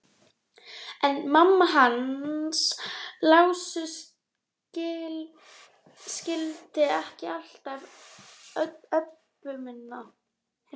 En mamma hans Lása skildi ekki alltaf Öbbu hina.